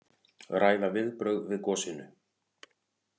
Ræða viðbrögð við gosinu